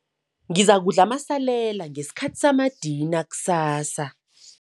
Ngizakudla amasalela ngesikhathi samadina kusasa.